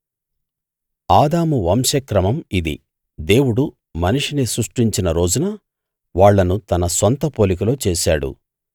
ఆదాము వంశక్రమం ఇది దేవుడు మనిషిని సృష్టించిన రోజున వాళ్ళను తన సొంత పోలికలో చేశాడు